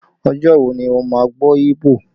Ọjọ́ wo ni o máa gbọ́ Igbo?